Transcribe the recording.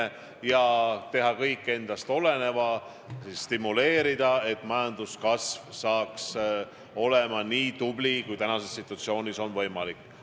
Me tahame teha kõik endast oleneva, et majandust stimuleerida, et majanduskasv oleks nii hea, kui praeguses situatsioonis võimalik on.